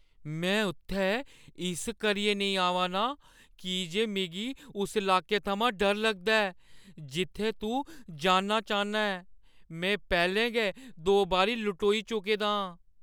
में उत्थै इस करियै नेईं आवा ना आं की जे मिगी उस लाके थमां डर लगदा ऐ जित्थै तूं जाना चाह्न्ना ऐं। में पैह्‌लें गै दो बारी लटोई चुके दा आं।